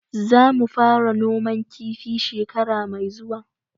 Zamu fara noman kifi shekara mai zuwa.